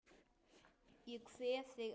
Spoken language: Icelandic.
Ég kveð þig, elsku mamma.